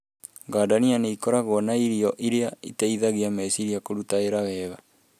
Gadania nĩ ikoragwo na irio iria iteithagia meciria kũruta wĩra wega.